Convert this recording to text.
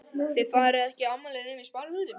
Þið farið ekki í afmæli nema í sparifötunum.